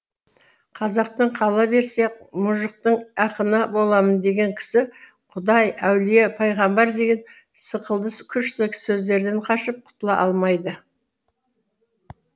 қазақтың қала берсе мұжықтың ақыны боламын деген кісі құдай әулие пайғамбар деген сықылды күшті сөздерден қашып құтыла алмайды